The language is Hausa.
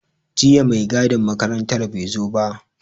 Jiya mai gadin makarantar bai zo ba.